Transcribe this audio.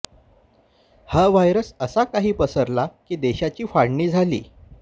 हा व्हायरस असा काही पसरला की देशाची फाळणी झाली